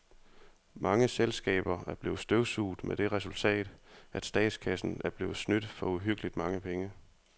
Mange selskaber er blevet støvsuget med det resultat, at statskassen er blevet snydt for uhyggeligt mange penge.